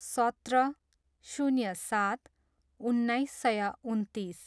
सत्र, शून्य सात, उन्नाइस सय उन्तिस